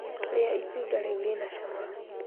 Rĩa itunda rĩu rĩna cama